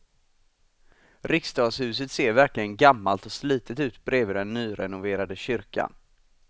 Riksdagshuset ser verkligen gammalt och slitet ut bredvid den nyrenoverade kyrkan.